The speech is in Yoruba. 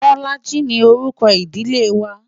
Bolaji ni orúkọ ìdílé wa.